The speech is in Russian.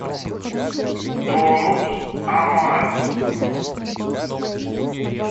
тонус амарис